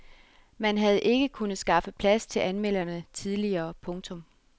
Man havde ikke kunnet skaffe plads til anmelderne tidligere. punktum